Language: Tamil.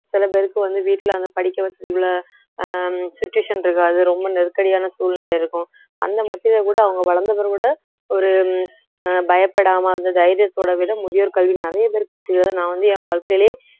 சில பேருக்கு வந்து வீட்டிலே அந்த படிக்க வசதிகள அஹ் situation இருக்காது ரொம்ப நெருக்கடியான சூழ்நிலை இருக்கும் அந்த கூட அவங்க வளர்ந்த பிறகு கூட ஒரு உம் அஹ் பயப்படாம அந்த தைரியத்தோட விட முதியோர் கல்வி நிறைய பேர் நான் வந்து என் வாழ்க்கையிலே